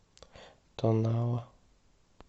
тонала